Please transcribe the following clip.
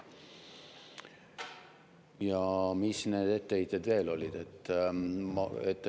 Ja mis need etteheited veel olid?